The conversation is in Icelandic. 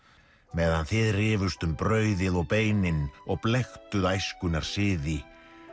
meðan þið rifust um brauðið og beinin og æskunnar siði